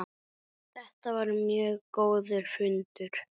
Þetta var mjög góður fundur.